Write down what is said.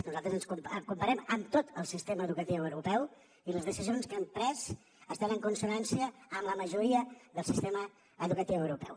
nosaltres ens comparem amb tot el sistema educatiu europeu i les decisions que hem pres estan en consonància amb la majoria del sistema educatiu europeu